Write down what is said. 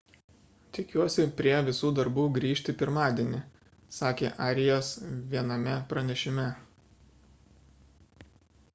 tikiuosi prie visų darbų grįžti pirmadienį – sakė arias viename pranešime